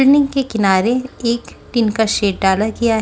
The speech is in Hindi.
के किनारे एक टिन का शेड डाला गया--